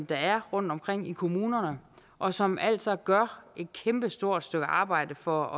der er rundtomkring i kommunerne og som altså gør et kæmpestort stykke arbejde for